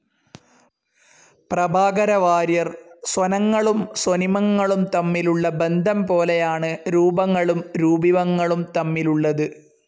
പ്രഭാകരവാര്യർ സ്വനങ്ങളും സ്വനിമങ്ങളും തമ്മിലുള്ള ബദ്ധം പോലെയാണ് രൂപങ്ങളും രൂപിമങ്ങളും തമ്മിലുള്ളത്.